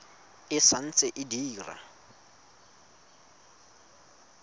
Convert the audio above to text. e sa ntse e dira